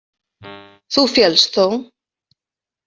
Þú féllst þó?